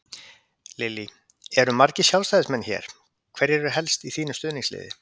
Lillý: Eru margir Sjálfstæðismenn hér, hverjir eru helst í þínu stuðningsliði?